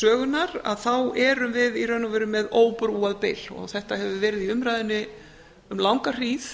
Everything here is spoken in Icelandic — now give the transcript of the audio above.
sögunnar að þá erum við í raun og veru með óbrúað bil og þetta hefur verið í umræðunni um langa hríð